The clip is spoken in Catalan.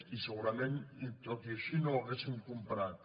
i segurament tot i així no ho hauríem comprat